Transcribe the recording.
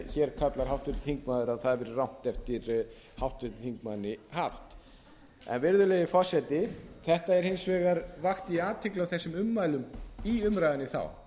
hér kallar háttvirtur þingmaður að það hafi verið rangt eftir háttvirtum þingmanni haft virðulegi forseti þetta er hins vegar vakti ég athygli á þessum ummælum í umræðunni þá